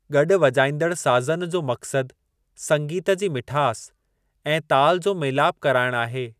गॾु वॼाइंदड़ साज़नि जो मक़्सद संगीत जी मिठास ऐं ताल जो मेलाप कराइणु आहे।